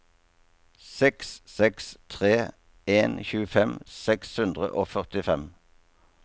seks seks tre en tjuefem seks hundre og førtifem